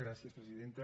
gràcies presidenta